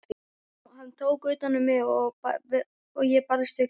Hann tók utan um mig og ég barðist við grátinn.